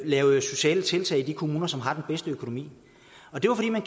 lave sociale tiltag i de kommuner som havde den bedste økonomi og det var fordi man